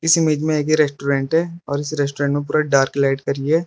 इस इमेज में एक रेस्टोरेंट है और इस रेस्टोरेंट में पूरा डार्क लाइट करी है।